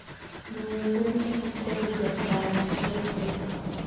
jonyie gweno e hotel jakao kilo adek